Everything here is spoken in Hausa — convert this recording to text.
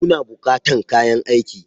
Kuna bukatan kayan aiki?